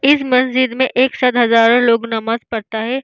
इस मस्जिद में एक साथ हजारों लोग नमाज पढता है।